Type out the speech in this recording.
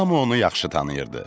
Hamı onu yaxşı tanıyırdı.